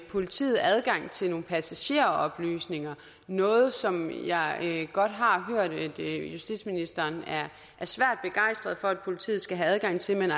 politiet adgang til nogle passageroplysninger noget som jeg godt har hørt justitsministeren er svært begejstret for at politiet skal have adgang til